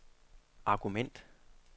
argument